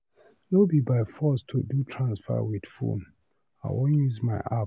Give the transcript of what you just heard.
No be by force to do transfer with phone, I wan use my app.